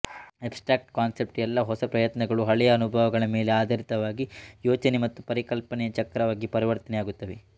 abstract concept ಎಲ್ಲ ಹೊಸ ಪ್ರಯತ್ನಗಳು ಹಳೆಯ ಅನುಭವಗಳ ಮೇಲೆ ಆಧರಿತವಾಗಿ ಯೋಚನೆ ಮತ್ತು ಪರಿಕಲ್ಪನೆಯ ಚಕ್ರವಾಗಿ ಪರಿವರ್ತನೆಯಾಗುತ್ತವೆ